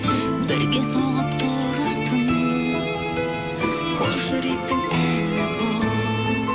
бірге соғып тұратын қос жүректің әні бұл